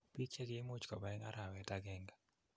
piik chegi imuuch koba en arawet agenge